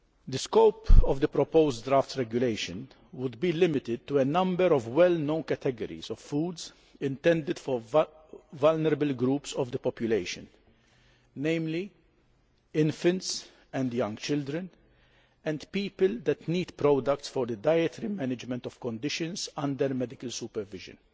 The scope of the proposed draft regulation would be limited to a number of well known categories of foods intended for vulnerable groups of the population, namely infants and young children, and people that need products for the dietary management of conditions under medical supervision.